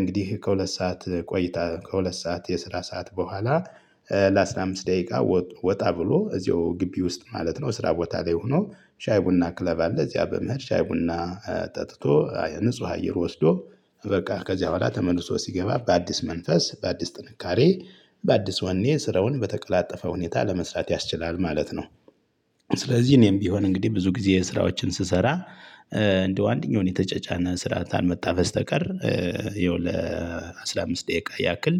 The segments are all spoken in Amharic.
እንግዲህ ከሁለት ሰዓት ቆይታ ከሁለት ሰዓት የስራ ሰዓት በኋላ ለአስራ አምስት ደቂቃ ወጣ ብሎ እዚያው ግቢ ውስጥ ማለት ነው። እስራ ቦታ ላይ ሁኖ ሻይ ቡና ክለብ አለ። እዚያ በመሄድ ሻይ ቡና ጠጥቶ ንጹህ አየር ወስዶ በቃ ከዚያ ቡሃላ ተመልሶ ሲገባ በአዲስ መንፈስ በአዲስ ጥንካሬ በአዲስ ወኔ ስራውን በተቀላጠፈ ሁኔታ ለመስራት ያስችላል ማለት ነው። ስለዚህ እኔም ቢሆን እንግዲህ ብዙ ጊዜ የስራዎችን ስሰራ እንደው አንደኛውን የተጨጫነ ስራ ካልመጣ በስተቀር ያው ለአስራ አምስት ደቂቃ ያክል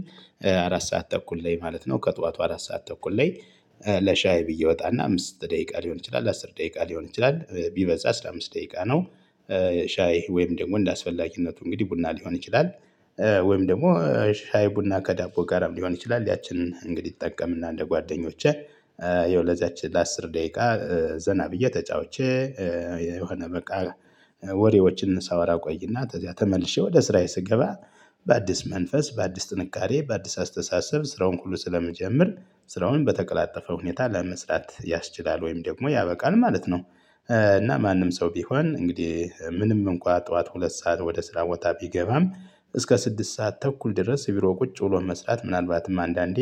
አራት ሰዓት ተኩል ላይ ማለት ነው ከጧቱ አራት ሰዓት ተኩል ላይ ለሻይ ብዬ እወጣና አምስት ደቂቃ ሊሆን ይችላል አስር ደቂቃ ሊሆን ይችላል ቢበዛ አስራ አምስት ደቂቃ ነው። ሻይ ወይም ደንደ አስፈላጊነቱ እንግዲህ ቡና ሊሆን ይችላል። ወይም ደሞ ሻይ ቡና ከዳቦ ጋርም ሊሆን ይችላል ያችንን እንግዲህ እጠቀምና እንደ ጓደኞቼ ያው ለዚያች ለአስር ደቂቃ ዘና ብዬ ተጫውቼ የሆነ በቃ ወሬዎችን ሳወራ እቆይና ተዚያ ተመልሼ ወደ ስራዬ ስገባ በአዲስ መንፈስ በአዲስ ጥንካሬ በአዲስ አስተሳሰብ ስራውን ሁሉ ስለመጀመር ስራውን በተቀላጠፈ ሁኔታ ለመስራት ያስችላል ወይም ደግሞ ያበቃል ማለት ነው። እና ማንም ሰው ቢሆን እንግዲህ ምንም እንኳ ጥዋት ሁለት ሰዓት ወደ ስራ ቦታ ቢገባም እስከ ስድስት ሰዓት ተኩል ድረስ እቢሮ ቁጭ ብሎ መስራት ምናልባትም አንዳንዴ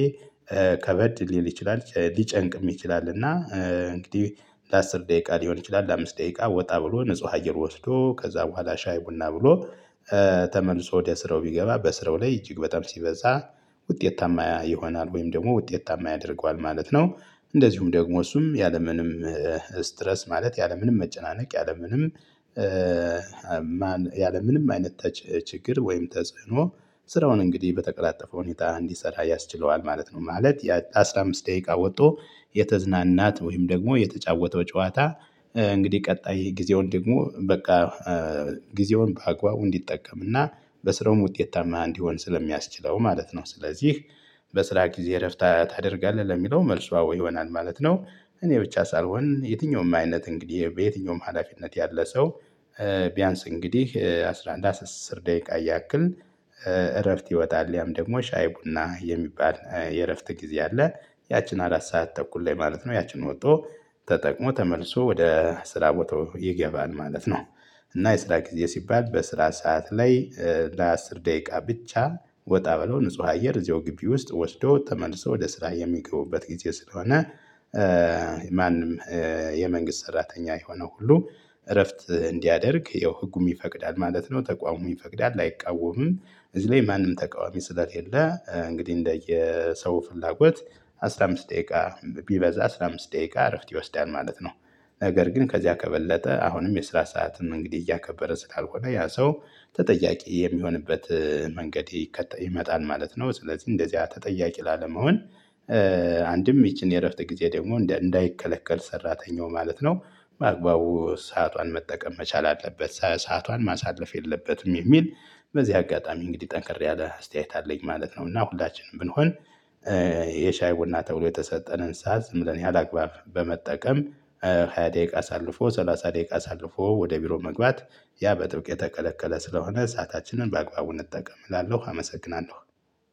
ከበድ ሊል ይችላል ሊጨንቅም ይችላል። እና እንግዲህ ለአስር ደቂቃ ሊሆን ይችላል ለአምስት ደቂቃ ወጣ ብሎ ንጹህ አየር ወስዶ ከዛ በኋላ ሻይ ቡና ብሎ ተመልሶ ወደ ስራው ቢገባ በስራው ላይ እጅግ በጣም ሲበዛ ውጤታማ ይሆናል ወይም ደግሞ ውጤታማ ያደርገዋል ማለት ነው። እንደዚሁም ደግሞ እሱም ያለምንም ስትረስ ማለት ያለምንም መጨናነቅ ያለምንም ያለምንም አይነት ችግር ወይም ተጽዕኖ ስራውን እንግዲህ በተቀላጠፈ ሁኔታ እንዲሰራ ያስችለዋል ማለት ነው። ማለት ለአስራ አምስት ደቂቃ ወጥቶ የተዝናናት ወይም ደግሞ የተጫወተው ጨዋታ እንግዲህ ቀጣይ ጊዜውን ደግሞ በቃ ጊዜውን በአግባቡ እንዲጠቀም እና በስራውም ውጤት ታማኝ እንዲሆን ስለሚያስችለው ማለት ነው። ስለዚህ በስራ ጊዜ እረፍት ታደርጋለህ ለሚለው መልሱ አዎ ይሆናል ማለት ነው። እኔ ብቻ ሳልሆን የትኛውም አይነት እንግዲህ በየትኛውም ሀላፊነት ያለ ሰው ቢያንስ እንግዲህ አስራ አንድ አስር ደቂቃ ያክል እረፍት ይወጣል ያም ደግሞ ሻይ ቡና የሚባል የእረፍት ጊዜ አለ። ያቺን አራት ሰዓት ተኩል ላይ ማለት ነው ያችን ወጥቶ ተጠቅሞ ተመልሶ ወደ ስራ ቦታው ይገባል ማለት ነው። እና የስራ ጊዜ ሲባል በስራ ሰዓት ላይ ለአስር ደቂቃ ብቻ ወጣ ብለው ንጹህ አየር እዚሁ ግቢ ውስጥ ወስዶ ተመልሶ ወደ ስራ የሚገቡበት ጊዜ ስለሆነ። ማንም የመንግስት ሰራተኛ የሆነ ሁሉ እረፍት እንዲያደርግ ይኸው ህጉም ይፈቅዳል ማለት ነው። ተቋሙም ይፈቅዳል አይቃወምም። እዚህ ላይ ማንም ተቃዋሚ ስለሌለ እንግዲህ እንደየ ሰው ፍላጎት አስራ አምስት ደቂቃ ቢበዛ አስራ አምስት ደቂቃ እረፍት ይወስዳል ማለት ነው። ነገር ግን ከዚያ ከበለጠ አሁንም የስራ ሰዓትንም እንግዲህ እያከበረ ስላልሆነ ያ ሰው ተጠያቂ የሚሆንበት መንገድ ይመጣል ማለት ነው። ስለዚህ እንደዚህ ተጠያቂ ላለመሆን አንድም ይቺን የእረፍት ጊዜ ደግሞ እንዳይከለከል ሰራተኛው ማለት ነው። በአግባቡ ሰዓቷን መጠቀም መቻል አለበት ሰዓቷን ማሳለፍ የለበትም የሚል በዚህ አጋጣሚ እንግዲህ ጠንክር ያለ አስተያየት አለኝ ማለት ነው። እና ሁላችንም ብንሆን የሻይ ቡና ተብሎ የተሰጠንን ሰዓት ዝም ብለን ያላግባብ በመጠቀም ሃያ ደቂቃ አሳልፎ ሰላሳ ደቂቃ አሳልፎ ወደ ቢሮ መግባት ያ በጥብቅ የተከለከለ ስለሆነ እሳታችንን በአግባቡ እንጠቀምላለሁ አመሰግናለሁ።